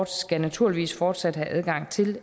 skal naturligvis fortsat have adgang til